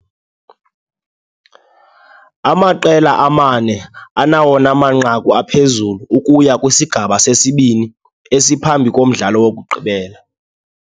Amaqela amane anawona manqaku aphezulu ukuya kwisigaba sesibini, esiphambi komdlalo wokugqibela.